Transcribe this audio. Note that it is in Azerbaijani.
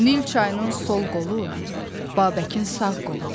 Nil çayının sol qolu Babəkin sağ qoludur.